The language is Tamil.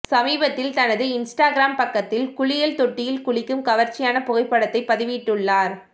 சமீபத்தில் தனது இன்ஸ்டாகிராம் பக்கத்தில் குளியல் தொட்டியில் குளிக்கும் கவர்ச்சியான புகைப்படத்தை பதிவிட்டுள்ளார்